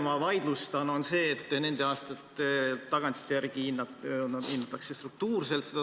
Ma vaidlustan selle, et tagantjärele hinnatakse seda tasakaalu struktuurselt.